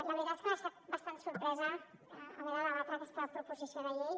la veritat és que m’ha deixat bastant sorpresa haver de debatre aquesta proposició de llei